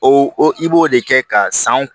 O i b'o de kɛ ka san